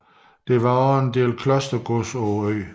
Der var også var en del klostergods på øen